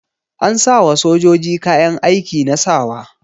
An sayawa sojoji kayan aiki na sawa.